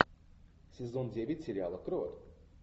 сезон девять сериала крот